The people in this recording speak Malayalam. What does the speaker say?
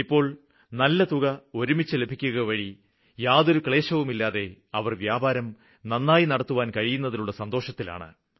ഇപ്പോള് നല്ല തുക ഒരുമിച്ച് ലഭിക്കുകവഴി യാതൊരുവിധ ക്ലേശവുമില്ലാതെ അവര് വ്യാപാരം നന്നായി നടത്തുവാന് കഴിയുന്നതിലുള്ള സന്തോഷത്തിലാണ്